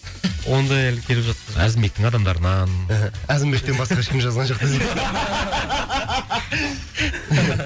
ондай әлі келіп жатқан жоқ әзімбектің адамдарынан әзімбектен басқа ешкім жазған жоқ десең